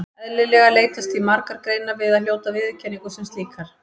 Eðlilega leitast því margar greinar við að hljóta viðurkenningu sem slíkar.